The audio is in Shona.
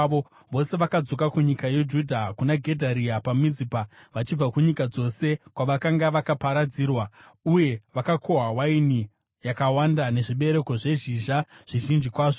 vose vakadzoka kunyika yeJudha, kuna Gedharia paMizipa, vachibva kunyika dzose kwavakanga vakaparadzirwa. Uye vakakohwa waini yakawanda nezvibereko zvezhizha zvizhinji kwazvo.